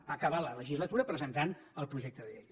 va acabar la legislatura presentant el projecte de llei